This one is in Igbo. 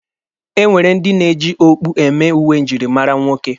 E nwere ndị na-eji okpu eme uwe njirimara ụmụ nwoke.